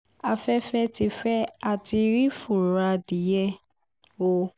afẹ́fẹ́ ti fẹ́ á ti rí fùrọ̀ adìẹ o